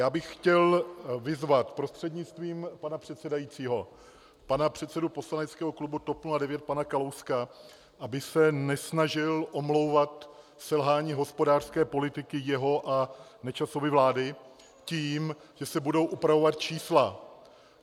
Já bych chtěl vyzvat prostřednictvím pana předsedajícího pana předsedu poslaneckého klubu TOP 09 pana Kalouska, aby se nesnažil omlouvat selhání hospodářské politiky jeho a Nečasovy vlády tím, že se budou upravovat čísla.